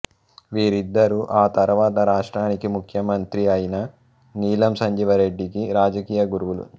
వీరిద్దరూ ఆ తర్వాత రాష్ట్రానికి ముఖ్యమంత్రి అయిన నీలం సంజీవరెడ్డికి రాజకీయ గురువులు